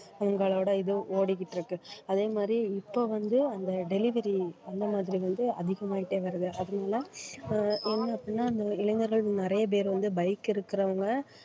உங்களோட இது ஓடிட்டிருக்கு அதே மாதிரி இப்ப வந்து அந்த delivery அந்த மாதிரி வந்து அடிக்கமாய்ட்டயே வருது ஆஹ் என்னாச்சி இந்த இளைஞர்கள் நிறைய பேர் வந்து bike இருக்கறவங்க